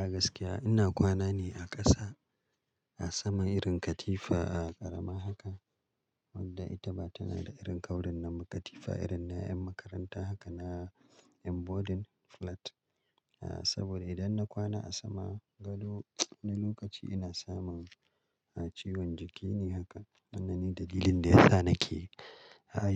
A gaskiya ina kwana ne a ƙasa, a sama irin katifa a ƙarama haka, wadda ita ba tana da irin kaurin nan ba. Katifa irin na 'yan makaranta haka na yan boarding flat. Saboda idan na kwana a sama gado wani lokaci ina samun ciwon jiki ne haka. Wannan ne dalilin da yasa nake